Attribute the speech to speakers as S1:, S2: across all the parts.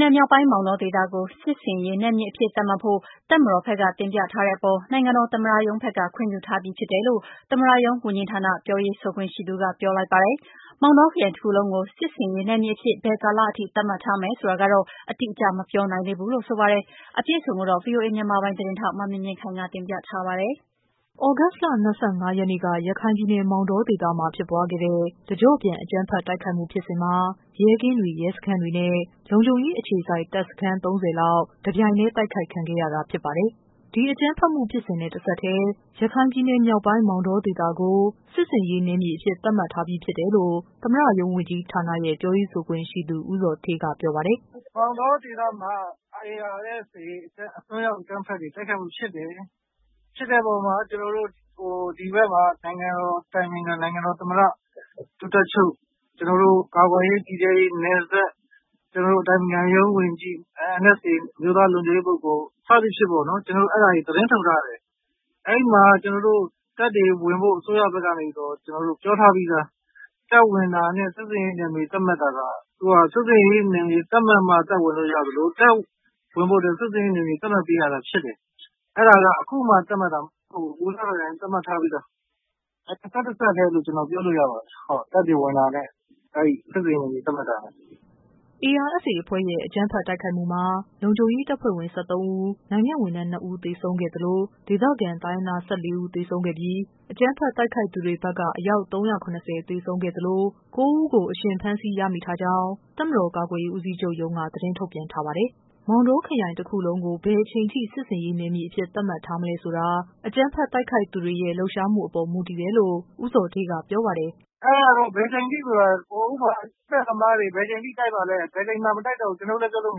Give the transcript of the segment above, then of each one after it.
S1: နယ်မြောက်ပိုင်း မောင်တော ဒေသကို စစ်ဆင်ရေးနယ်မြေအဖြစ် သတ်မှတ်ဖို့ တပ်မတော် ဘက်က တင်ပြထားမှုအပေါ် နိုင်ငံတော် သမ္မတရုံးဘက်က ခွင့်ပြုထားပြီးဖြစ်တယ်လို့ သမ္မတရုံး ဝန်ကြီး ဌာန ပြောရေးဆိုခွင့်ရှိသူက ပြောလိုက်ပါတယ်။ မောင်တော ခရိုင်တခုလုံးကို စစ်ဆင်ရေးနယ်မြေအဖြစ် ဘယ်ကာလအထိ သတ်မှတ်ထားမယ်ဆိုတာတော့ အတိအကျ မပြောနိုင်သေးဘူးလို့ ဆိုပါတယ်။ သ တင်း အပြည့်အစုံကိုတော့ ဗွီအိုအေ မြန်မာပိုင်း သတင်းထောက် မမြင့်မြင့်ခိုင်က တင်ပြပေးပါမယ်။ သြဂုတ်လ ၂၅ရက်နေ့က ရခိုင်ပြည်နယ် မောင်တောဒေသမှာ ဖြစ်ပွားခဲ့တဲ့ တကျော့ပြန် အကြမ်းဖက် တိုက်ခိုက်မှု ဖြစ်စဉ်မှာ ရဲကင်းတွေ၊ ရဲစခန်းတွေနဲ့ လုံခြုံရေးအခြေစိုက် တပ်စခန်း ၃၀လောက် တပြိုင် တည်းတိုက်ခိုက်ခံခဲ့ရတာ ဖြစ်ပါတယ်။ ဒီ အကြမ်းဖက်မှုဖြစ်စဉ်နဲ့ တဆက်တည်း ရခိုင်ပြည်နယ် မြောက်ပိုင်း မောင်တောဒေသကို စစ်ဆင်ရေး နယ်မြေအဖြစ် သတ်မှတ်ထားပြီးဖြစ်တယ်လို့ သမ္မတရုံးဝန်ကြီးဌာနရဲ့ ပြောရေးဆိုခွင့်ရှိသူ ဦးဇော်ဌေးက ပြောပါတယ်
S2: ။ “မောင်တောဒေသမှာ ARSA တွေရဲ့အစွန်းရောက်အကြမ်းဖက်တိုက်ခိုက်မှုဖြစ်တယ်။ ဖြစ်တဲ့အပေါ်မှာ ကျနော်တို့ ဒီဘက်မှာ နိုင်ငံတော်အတိုင်ပင်ခံ၊ နိုင်ငံတော်သမ္မတ ၊ ဒု-တပ်ချုပ် ကျနော်တို့ ကာကွယ်ရေး ပြည်ထဲရေး၊ နယ်စပ် ၊ ကျနော်တို့ အတိုင်ပင်ခံရုံးဝန်ကြီး၊ NSA အမျိုးသားလုံခြုံရေးပုဂ္ဂိုလ် စသဖြင့်ပေါ့နော် ကျနေ်ာတို့ အဲဒါတွေသတင်းထုတ်ထားတယ်။ အဲဒီမှာ ကျနော်တို့ တပ်တွေဝင်ဖို့ အစိုးရဘက်ကနေပြီးတော့ ပြောထားပြီးသား တပ်ဝင်တာနဲ့ စစ်ဆင်ရေးနယ်မြေသတ်မှတ်တာက ၊ စစ်ဆင်ရေးနယ်မြေသတ်မှတ်မှ တပ်ဝင်လို့ရသလို တပ်ဝင်ဖို့အတွက် စစ်ဆင်ရေးနယ်မြေသတ်မှတ်ပေးရတာရှိတယ်။ အဲဒါက အခုမှသတ်မှတ်တာမဟုတ်ဘူး။ ဟိုကတည်းက သတ်မှတ်ထားပြီးသား တဆက်တည်းလို့ ကျနော်တို့ပြောလို့ရပါတယ် တပ်ဝင်တာနဲ့ စစ်ဆင်ရေးနယ်မြေသတ်မှတ်တာ။”
S1: ARSA အဖွဲ့ရဲ့ အကြမ်းဖက် တိုက်ခိုက်မှုမှာ လုံခြုံရေး တပ်ဖွဲ့ဝင် ၁၃ဦး၊ နိုင်ငံ့ဝန်ထမ်း ၂ ဦး သေဆုံးခဲ့သလို ဒေသခံ တိုင်းရင်းသား ၁၄ဦး သေဆုံးခဲ့ပြီး အကြမ်းဖက်တိုက်ခိုက်သူတွေဘက်က အယောက် ၃၇၀ကို သေဆုံးခဲ့သလို ၉ဦးကို အရှင် ဖမ်းဆီးရမိထားကြောင်း တပ်မတေ်ာ ကာကွယ်ရေး ဦးစီးချုပ်ရုံးက သတင်း ထုတ်ပြန်ထားပါတယ်။ မောင်တောခရိုင်တခုလုံးကို ဘယ်အချိန်အထိ စစ်ဆေးရေးနယ်မြေအဖြစ် သတ်မှတ်ထားမလဲဆိုတာ အကြမ်းဖက် တိုက်ခိုက်သူတွေရဲ့ လှုပ်ရှားမှုအပေါ် မူတည်တယ်လို့ ဦးဇော်ဌေးက ပြောပါတယ်။ “အဲဒါ
S2: က ဘယ်အချိန်အထိဆိုတာက အကြမ်းဖက်သမားတွေ ဘယ်အချိန်အထိတိုက်မှာလည်း ဘယ်အချိန်မှာမတိုက်တော့ဘူး ကျနော်တို့လည်း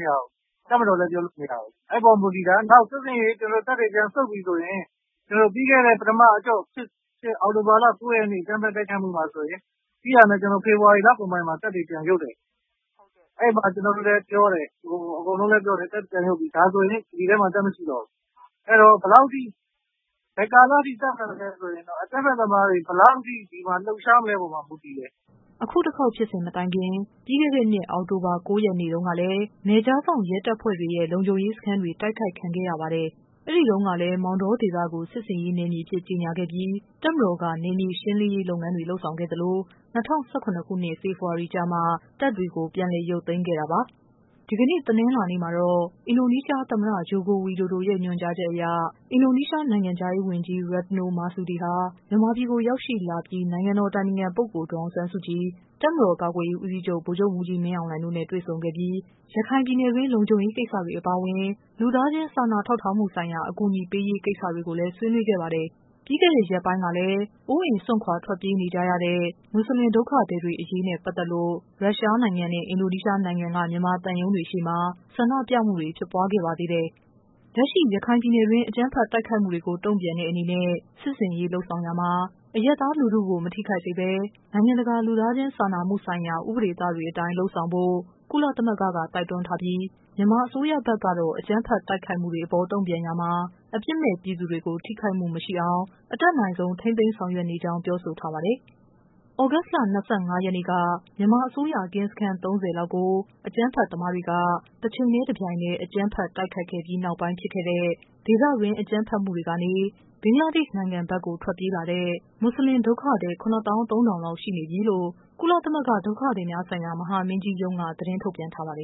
S2: ပြောလို့မရဘူး၊ တပ်မတော်လည်းပြောလို့မရဘူး။ အဲဒီအပေါ်မူတည်တယ်။ နောက်စစ်ဆင်ရေး တပ်တွေပြန်ဆုတ်ပြီဆိုရင် ပြီးခဲ့တဲ့ ပထမအကြော့ဖြစ်ဖြစ် အောက်တိုဘာလ ၉ ရက်နေ့ အကြမ်းဖက်တိုက်ခိုက်မှုမှာဆိုရင် ပြီးတာနဲ့ ကျနော်တို့ ဖေဖော်ဝါရီလကုန်ပိုင်းမှာ ပြန်ရုပ်တယ်။ အဲဒီမှာ ကျနော်တို့လည်းပြောတယ်၊ အကုန်လုံးလည်းပြောတယ်။ အဲဒီမှာ ပြန်ရုပ်ပြီ ဒါဆိုရင် ဒီဒေသမှာ တပ်မရှိတော့ဘူး။ အဲဒီတော့ ဘယ်ကာလအထိ သတ်မှတ်မလဲဆိုရင်အကြမ်းဖက်သမားတွေ ဘယ်လောက်အထိ လှုပ်ရှားမလဲဆိုတဲ့အပေါ်မှာမူတည်တ
S1: ယ်။” အခု တခေါက် ဖြစ်စဉ်မတိုင်ခင် ပြီးခဲ့တဲ့နှစ် အောက်တိုဘာ ၉ ရက်နေ့တုန်းကလည်း နယ်ခြားစောင့် ရဲတပ်ဖွဲ့တွေရဲ့ လုံခြုံရေးစခန်းတွေ တိုက်ခိုက်ခံခဲ့ရပါတယ်။ အဲ့ဒီတုန်းကလည်း မောင်တောဒေသကို စစ်ဆင်ရေးနယ်မြေအဖြစ် ကြေညာခဲ့ပြီး တပ်မတော်က နယ်မြေရှင်းလင်းရေး လုပ်ငန်းတွေ လုပ်ဆောင် ခဲ့သလို ၂၀၁၇ ဖော်ဖေဝါရီကျမှ တပ်တွေ ပြန်လည် ရုပ်သိမ်းခဲ့တာပါ။ ဒီကနေ့ တနင်္လာနေ့ မှာတော့ အင်ဒိုနီးရှားသမ္မတ Joko Widodo ရဲ့ ညွှန်ကြားချက်အရ အင်ဒိုနီးရှား နိုင်ငံခြားရေးဝန်ကြီး Retno Marsudi ဟာ မြန်မာပြည်ကို ရောက်ရှိလာပြီး နိုင်ငံတော် အတိုင်ပင်ခံပုဂ္ဂိုလ် ဒေါ်အောင်ဆန်းစုကြည်၊ တပ်မတော် ကာကွယ်ရေးဦးစီးချုပ် ဗိုလ်ချုပ်မှူးကြီး မင်းအောင်လှိုင်တို့နဲ့ တွေ့ ဆုံခဲ့ပြီး ရခိုင်ပြည်နယ်တွင်း လုံခြုံရေးကိစ္စတွေ အပါအဝင် လူသားချင်း စာနာထောက်ထားမှု ဆိုင်ရာ အကူညီပေးရေးကိစ္စတွေကို ဆွေးနွေးခဲ့ပါတယ်။ ပြီးခဲ့တဲ့ရက်ပိုင်းကလည်း အိုးအိမ်စွန့်ခွာ ထွက်ပြေးနေကြရတဲ့ မွတ်ဆလင် ဒုက္ခသည်တွေ အရေးနဲ့ ပတ် သက်လို့ ရုရှားနိုင်ငံနဲ့အင်ဒိုနီးရှားနိုင်ငံက မြန်မာသံရုံးတွေရှေ့မှာ ဆန္ဒပြမှုတွေဖြစ်ပွားခဲ့ပါသေးတယ်။ လက်ရှိ ရခိုင် ပြည်နယ်တွင်း အကြမ်းဖက်တိုက်ခိုက်မှုကို တုံ့ပြန်တဲ့အနေနဲ့ စစ်ဆင်ရေး လုပ်ဆောင်ရာမှာ အရပ်သား လူထုကို မထိခိုက်စေဘဲ နိုင်ငံတကာ လူသားချင်း စာနာမှုဆိုင်ရာ ဥပဒေသတွေအတိုင်း လုပ်ဆောင်ဖို့ ကုလသမဂ္ဂကတော့ တိုက်တွန်းထားပြီး မြန်မာအစိုးရဖက်ကတော့ အကြမ်းဖက် တိုက်ခိုက်မှုတွေ အပေါ် တုံ့ပြန်ရာမှာ အပြစ်မဲ့ပြည်သူတွေ ထိခိုက်မှု မရှိအောင် အတတ်နိုင်ဆုံး ထိန်းသိမ်း ဆောင်ရွက် နေကြောင်း ပြောဆိုထားပါတယ်။ သြဂုတ်လ ၂၅ ရက်နေ့က မြန်မာ အစိုးရ ကင်းစခန်း ၃၀ လောက်ကို အကြမ်းဖက်သမားတွေက တချိန်တည်း တပြိုင်တည်း အကြမ်းဖက် တိုက်ခိုက်ခဲ့ပြီးနောက်ပိုင်း ဖြစ်ခဲ့တဲ့ ဒေသတွင်း အကြမ်းဖက်မှု တွေကနေ ဘင်္ဂလားဒေရှ့် နိုင်ငံဘက်ကို ထွက်ပြေးလာတဲ့ မွတ်ဆလင် ဒုက္ခသည် ၇ သောင်း ၃ ထောင်လောက် ရှိနေပြီလို့ ကုလသမဂ္ဂ ဒုက္ခသည်များဆိုင်ရာ မဟာမင်းကြီးရုံးက သတင်းထုတ်ပြန် ထားပါတယ်